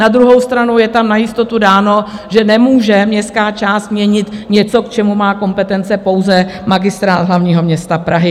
Na druhou stranu je tam na jistotu dáno, že nemůže městská část měnit něco, k čemu má kompetence pouze Magistrát hlavního města Prahy.